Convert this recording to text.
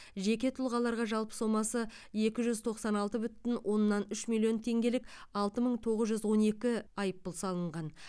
жеке тұлғаларға жалпы сомасы екі жүз тоқсан алты бүтін оннан үш миллион теңгелік алты мың тоғыз жүз он екі айыппұл салынған